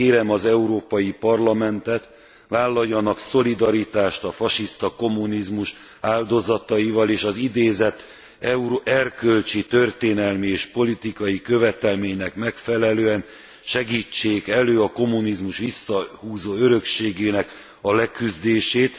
Kérem az Európai Parlamentet, vállaljanak szolidaritást a fasiszta kommunizmus áldozataival és az idézett erkölcsi, történelmi és politikai követelménynek megfelelően segítsék elő a kommunizmus visszahúzó örökségének a leküzdését.